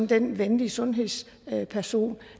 den venlige sundhedsperson